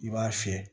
I b'a fiyɛ